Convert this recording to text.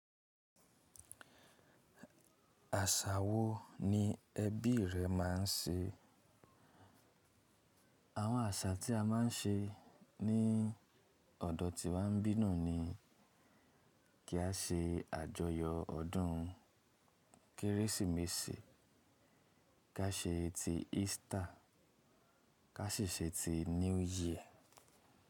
Àṣà wo ni ẹbí rẹ ma n ṣe? Àwọn àṣà tí a ma n ṣe ní ọ̀dọ̀ tí wà n bí na l ni kí a ṣe àjọyọ̀ ọdún Kérésìmesì, ká ṣe ti Easter, ká sì ṣe ti New Year.